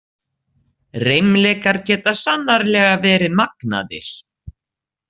Reimleikar geta sannarlega verið magnaðir.